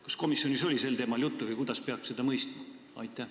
Kas komisjonis oli sel teemal juttu või kuidas peab seda mõistma?